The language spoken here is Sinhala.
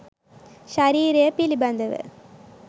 ශරීරය පිළිබඳ ව